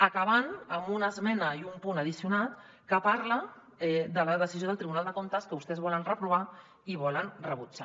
acaben amb una esmena i un punt addicional que parla de la decisió del tribunal de comptes que vostès volen reprovar i volen rebutjar